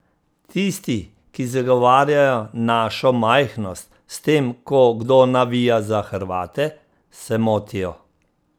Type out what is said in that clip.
Tisti, ki zagovarjajo našo majhnost s tem, ko kdo navija za Hrvate, se motijo.